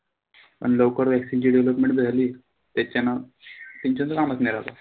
अन लवकर vaccine ची development जी झाली. त्याच्यान